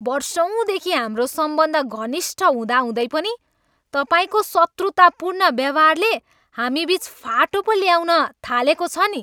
वर्षौँदेखि हाम्रो सम्बन्ध घनिष्ठ हुँदाहुँदै पनि तपाईँको शत्रुतापूर्ण व्यवहारले हामीबिच फाटो पो ल्याउन थालेको छ नि।